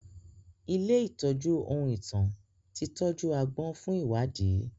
Ilé ìtọ́jú ohun ìtàn ti tọ́jú agbọ́n fún ìwádìí